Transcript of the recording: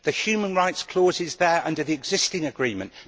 The human rights clause is there under the existing agreement